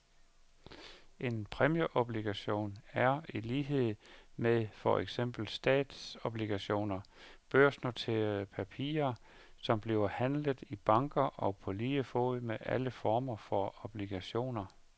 En præmieobligation er, i lighed med for eksempel statsobligationer, børsnoterede papirer, som bliver handlet i banker på lige fod med alle former for obligationer.